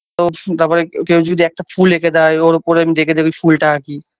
ও তাপরে কেউ যদি একটা ফুল একে দেয় ওর উপরে আমি দেখে দেখে ওই ফুলটা আকি